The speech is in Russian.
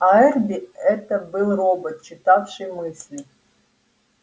а эрби это был робот читавший мысли